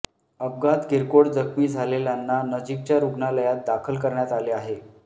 अपघातात किरकोळ जखमी झालेल्यांना नजीकच्या रुग्णालयात दाखल करण्यात आले आहे